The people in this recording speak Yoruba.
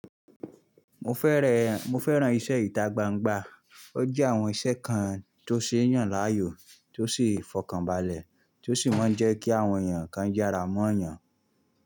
Mo fẹ́rẹ̀, mo fẹ́ran iṣẹ́ ìta gbangba ó jẹ́ àwọn iṣẹ́ kan tó ṣe é yàn láàyò, tó sì fọkànbalẹ̀, tó sì máa ń jẹ́ kí àwọn èèyàn kan jára mọ́ èèyàn.